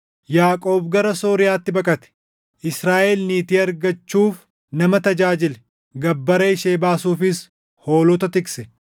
Yaaqoob gara Sooriyaatti baqate; Israaʼel niitii argachuuf nama tajaajile; gabbara ishee baasuufis hoolota tikse.